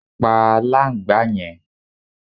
Pá aláǹgbá yẹn